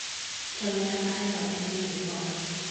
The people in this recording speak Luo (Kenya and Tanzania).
Jawenda mahero en Willy paul